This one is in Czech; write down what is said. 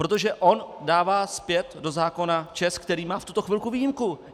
Protože on dává zpět do zákona ČEZ, který má v tuto chvíli výjimku.